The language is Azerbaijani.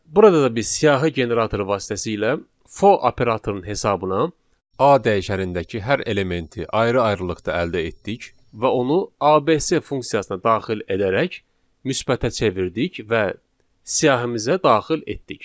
Burada da biz siyahı generatoru vasitəsilə for operatorunun hesabına A dəyişənindəki hər elementi ayrı-ayrılıqda əldə etdik və onu ABC funksiyasına daxil edərək müsbətə çevirdik və siyahımıza daxil etdik.